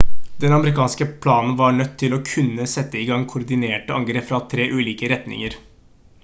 den amerikanske planen var nødt til å kunne sette i gang koordinerte angrep fra 3 ulike retninger